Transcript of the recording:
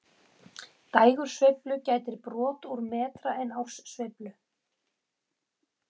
Dægursveiflu gætir brot úr metra en árssveiflu